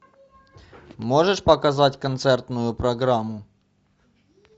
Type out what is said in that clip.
можешь показать концертную программу